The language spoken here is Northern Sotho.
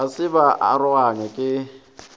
ga se ba aroganywa ke